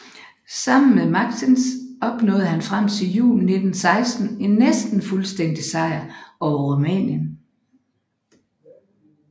Sammen med Mackensen opnåede han frem til julen 1916 en næsten fuldstændig sejr over Rumænien